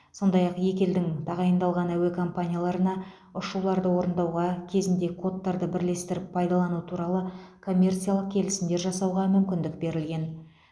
сондай ақ екі елдің тағайындалған әуе компанияларына ұшуларды орындауға кезінде кодтарды бірлесіп пайдалану туралы коммерциялық келісімдер жасауға мүмкіндік берілген